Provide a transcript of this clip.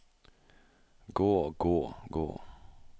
gå gå gå